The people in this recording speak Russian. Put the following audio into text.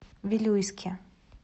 вилюйске